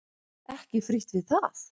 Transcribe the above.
Ekki frítt við það!